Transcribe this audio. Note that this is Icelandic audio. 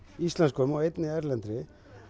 íslenskum og einni erlendri